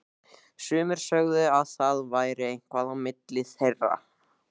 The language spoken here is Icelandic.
Sumir sögðu að það væri eitthvað á milli þeirra.